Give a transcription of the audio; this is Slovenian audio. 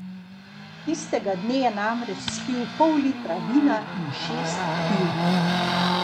Tistega dne je namreč spil pol litra vina in šest piv.